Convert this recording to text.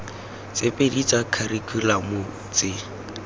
tse pedi tsa kharikhulamo tse